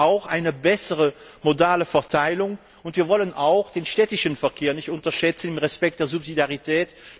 Wir wollen aber auch eine bessere modale Verteilung, und wir wollen auch den städtischen Verkehr nicht unterschätzen unter Achtung der Subsidiarität.